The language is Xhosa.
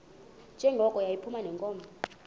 njengoko yayiphuma neenkomo